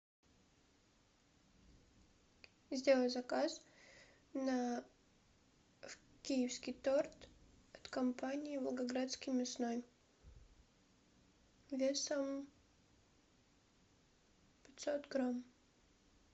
сделай заказ на киевский торт от компании волгоградский мясной весом пятьсот грамм